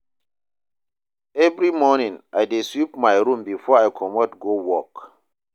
Every morning, I dey sweep my room before I comot go work.